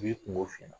I b'i kungo f'i ɲɛna